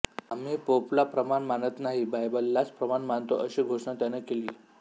आम्ही पोपला प्रमाण मानत नाही बायबललाच प्रमाण मानतो अशी घोषणा त्याने केली